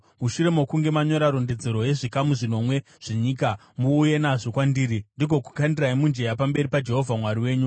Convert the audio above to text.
Mushure mokunge manyora rondedzero yezvikamu zvinomwe zvenyika, muuye nazvo kwandiri ndigokukandirai mujenya pamberi paJehovha Mwari wenyu.